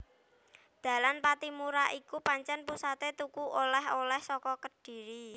Dalan Pattimura iku pancen pusaté tuku oleh oleh saka Kedhiri